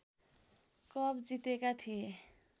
cup जितेका थिए